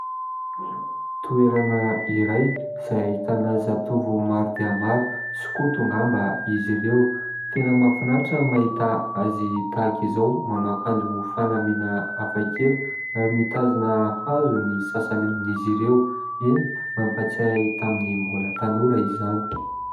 Toerana iray, izay ahita zatovo maro dia maro. Sokoto ngamba izy ireo. Tena mafinaritra ny mahita azy tahaka izao manao akanjo fanamina afakela. Ary mitazona hazo ny sasany amin'izy ireo. Eny, mampatsiahy ahy tamin'ny mbola tanora izany.